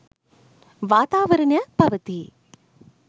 වාතාවරණයක් පවතී.